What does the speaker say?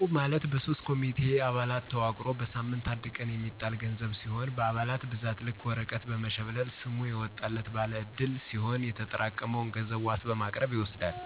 እቁብ` ማለት በሶስት ኮሚቴ አባላት ተዋቅሮ በሳምት አንድ ቀን የሚጣል ገንዘብ ሲሁን በአባላት ብዛት ልክ ወረቀት በመሽብለል ሰሙ የወጣላት ባለ ዕድል ሲሆን የተጠራቀመውን ገንዘብ ዋስ በማቅረብ ይወስዳል።